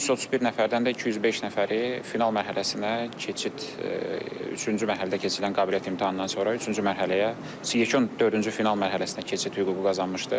O 1331 nəfərdən də 205 nəfəri final mərhələsinə keçid üçüncü mərhələdə keçirilən qabiliyyət imtahanından sonra üçüncü mərhələyə yekun dördüncü final mərhələsinə keçid hüququ qazanmışdır.